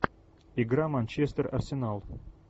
игра манчестер арсенал